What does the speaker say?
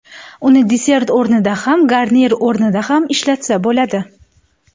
Uni desert o‘rnida ham garnir o‘rnida ham ishlatsa bo‘ladi.